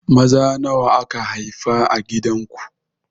Maza nawa aka haifa a gidan ku?